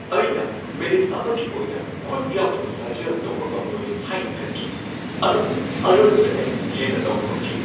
ꯑꯩꯅ ꯃꯤꯅꯤꯠ ꯑꯃꯒꯤ ꯑꯣꯏꯅ ꯈꯨꯠ ꯌꯥꯎꯗꯕ ꯁꯥꯖꯦꯜ ꯇꯧꯕ ꯉꯝꯂꯣꯏ ꯍꯥꯏꯅ ꯈꯟꯈꯤ, ꯑꯗꯨꯕꯨ ꯑꯔꯣꯏꯕꯗ ꯑꯩ ꯍꯦꯟꯅ ꯇꯧꯕ ꯉꯝꯈꯤ꯫